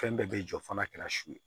Fɛn bɛɛ bɛ jɔ fo n'a kɛra su ye